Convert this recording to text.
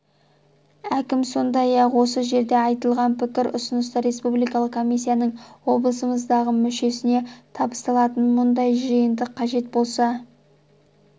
әкім сондай-ақ осы жерде айтылған пікір-ұсыныстар республикалық комиссияның облысымыздағы мүшесіне табысталатынын мұндай жиынды қажет болса